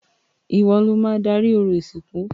Ìwo lo máa darí orò ìsìnkú.